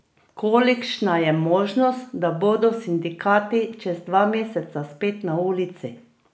Kolikšna je možnost, da bodo sindikati čez dva meseca spet na ulici?